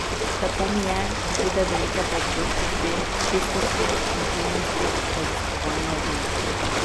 Lepo mi je, ko pride do neke preprostosti, čistosti, intimnosti, raziskovanja odnosov.